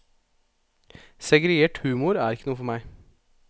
Segregert humor er ikke noe for meg.